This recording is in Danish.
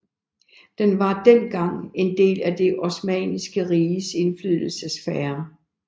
Den var dengang en del af Det Osmanniske Riges indflydelsessfære